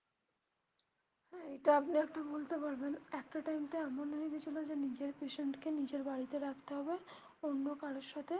হ্যা এটা আপনি একটা বলতে পারবেন একটা time টা এমন হয়ে গেছিলো যে নিজের patient কে নিজের বাড়িতে রাখতে হবে অন্য কারোর সাথে.